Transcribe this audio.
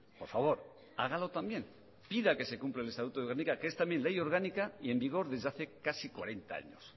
por favor hágalo también pida que se cumpla el estatuto de guernica que es también ley orgánica y en vigor desde hace casi cuarenta años